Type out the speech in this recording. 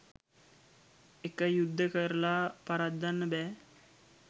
එක යුද්ධ කරලා පරද්දන්න බෑ